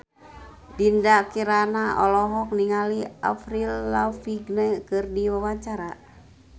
Dinda Kirana olohok ningali Avril Lavigne keur diwawancara